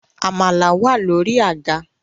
Amala wà lórí àga